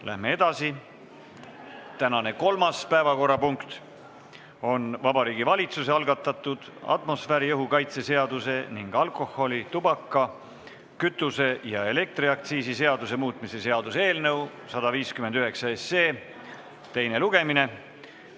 Läheme edasi: tänane kolmas päevakorrapunkt on Vabariigi Valitsuse algatatud atmosfääriõhu kaitse seaduse ning alkoholi-, tubaka-, kütuse- ja elektriaktsiisi seaduse muutmise seaduse eelnõu 159 teine lugemine.